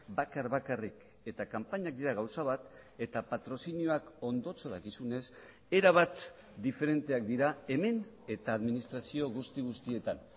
bakar bakarrik eta kanpainak dira gauza bat eta patrozinioak ondotxo dakizunez erabat diferenteak dira hemen eta administrazio guzti guztietan